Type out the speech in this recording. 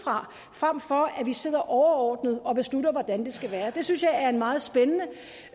frem for at vi sidder overordnet og beslutter hvordan det skal være det synes jeg er en meget spændende